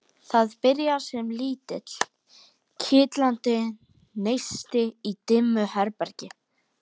Það byrjar sem lítill, kitlandi neisti í dimmu herbergi.